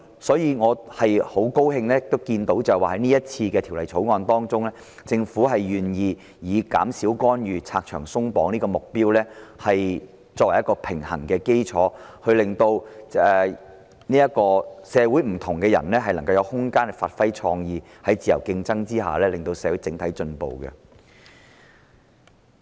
所以，我很高興在這項《條例草案》中，政府願意以減少干預和拆牆鬆綁的目標作為取得平衡的基礎，令社會上不同的人士能有空間發揮創意，令社會在自由競爭下整體進步。